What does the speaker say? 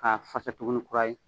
K'a fasa tuguni kura ye.